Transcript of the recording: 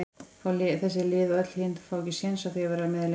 fá þessi lið og öll hin fá ekki séns á því að vera með lengur?